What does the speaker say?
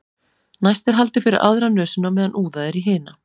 næst er haldið fyrir aðra nösina á meðan úðað er í hina